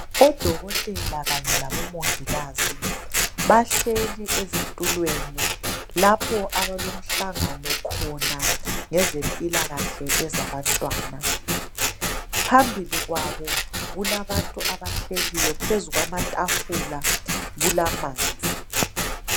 Odokotela kanye labomongikazi bahleli ezitulweni lapho abalomhlangano khona ngezempilakahle ezabantwana, phambili kwabo kulabantu abahleliyo, phezu kwamatafula kulamanzi.